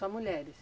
Só mulheres?